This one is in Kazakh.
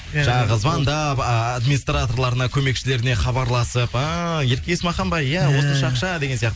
жаңағы звондап администрларына көмекшілеріне хабарласып ііі ерке есмахан ба иә осынша ақша деген сияқты